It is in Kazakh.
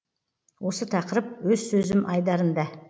осы тақырып өз сөзім айдарында